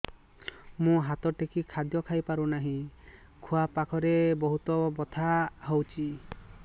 ମୁ ହାତ ଟେକି ଖାଦ୍ୟ ଖାଇପାରୁନାହିଁ ଖୁଆ ପାଖରେ ବହୁତ ବଥା ହଉଚି